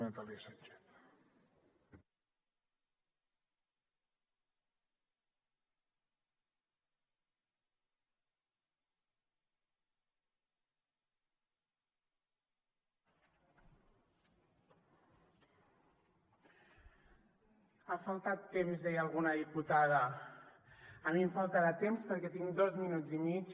ha faltat temps deia alguna diputada a mi em faltarà temps perquè tinc dos minuts i mig